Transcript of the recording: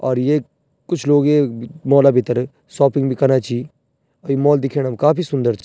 और ये कुछ लोग येक मॉल भित्तर शौपिंग भी कना छी और ये मॉल दिखेणा म काफी सुन्दर च।